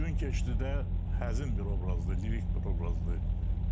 Gün keçdi də həzin bir obrazdır, lirik bir obrazdır.